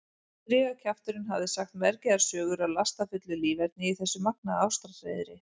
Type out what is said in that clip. Strigakjafturinn hafði sagt mergjaðar sögur af lastafullu líferni í þessu magnaða ástarhreiðri.